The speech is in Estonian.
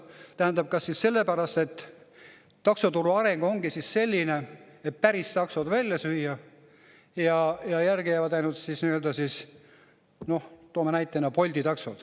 Kas siis taksoturu areng ongi selline, et päris taksod välja süüa ja järgi jäävad ainult näiteks Bolti taksod?